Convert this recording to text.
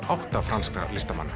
átta franskra listamanna